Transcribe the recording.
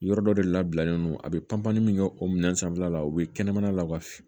Yɔrɔ dɔ de labilalen do a bɛ panpan min kɛ o minɛn sanfɛla la u be kɛnɛmana law ka f